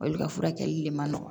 Olu ka furakɛli de ma nɔgɔ